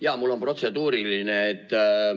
Jaa, mul on protseduuriline.